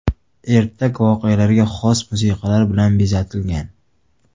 Ertak voqealarga xos musiqalar bilan bezatilgan.